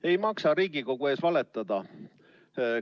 Ei maksa Riigikogu ees valetada.